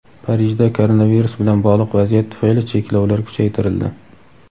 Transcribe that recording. Parijda koronavirus bilan bog‘liq vaziyat tufayli cheklovlar kuchaytirildi.